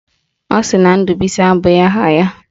Ọ sị na Ndubuisi abụghị aha ya?